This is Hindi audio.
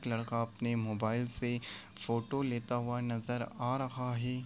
एक लड़का अपने मोबाइल से फोटो लेता हुआ नज़र आ रहा है।